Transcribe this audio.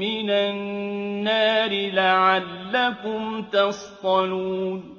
مِّنَ النَّارِ لَعَلَّكُمْ تَصْطَلُونَ